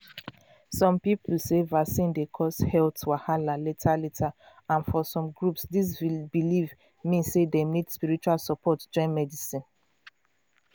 some people sey vaccine dey cause health wahala later later and for some groups this belief mean sey dem need spiritual support join medicine.